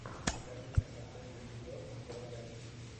покажи мне последний эпизод дел рекордс